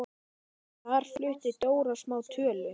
Þar flutti Dóra smá tölu.